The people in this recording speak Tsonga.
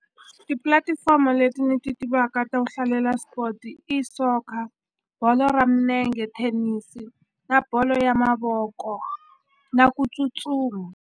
Tipulatifomo leti ni ti tivaka to hlalela sport i soccer bolo ra minenge thenisi na bolo ya mavoko na ku tsutsuma.